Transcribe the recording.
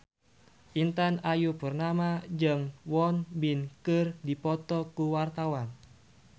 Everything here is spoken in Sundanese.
Intan Ayu Purnama jeung Won Bin keur dipoto ku wartawan